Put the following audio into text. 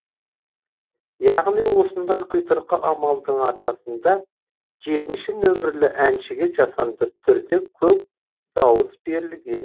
яғни осындай құйтырқы амалдың арқасында жетінші нөмірлі әншіге жасанды түрде көп дауыс берілген